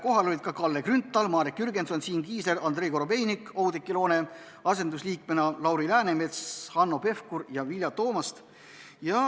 Kohal olid ka Kalle Grünthal, Marek Jürgenson, Siim Kiisler, Andrei Korobeinik Oudekki Loone asendusliikmena, Lauri Läänemets, Hanno Pevkur ja Vilja Toomast.